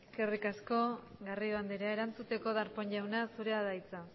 eskerrik asko garrido anderea erantzuteko darpón jauna zurea da hitza